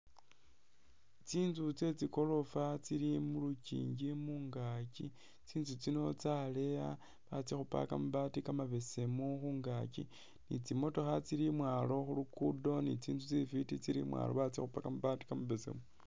Tsintsu tsetsigorofa tsili mulukyinji mungakyi tsintsu tsino tsaleya batsikhupa kamabaati kamabesemu khungakyi ni tsimotokha tsili imwalo khulugudo ni tsintsu tsifiti tsili imwalo batsikhupa kamabaati kamabesemu.